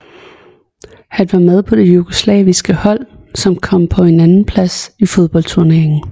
Han var med på det jugoslaviske hold som kom på en andenplads fodboldturneringen